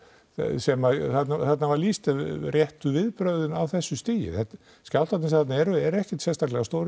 sem þarna var lýst réttu viðbrögðin á þessu stigi skjálftarnir sem eru þarna eru ekkert sérstaklega stórir